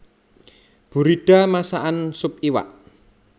Buridda masakan sup iwak